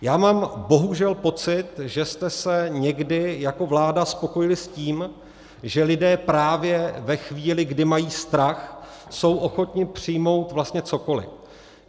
Já mám bohužel pocit, že jste se někdy jako vláda spokojili s tím, že lidé právě ve chvíli, kdy mají strach, jsou ochotni přijmout vlastně cokoli.